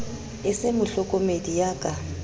e se mohlokomedi ya ka